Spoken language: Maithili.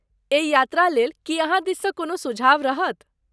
एहि यात्रा लेल की अहाँ दिससँ कोनो सुझाव रहत?